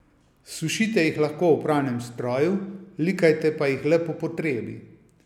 Sušite jih lahko v pralnem stroju, likajte pa jih le po potrebi.